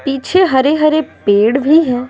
पीछे हरे हरे पेड़ भी हैं।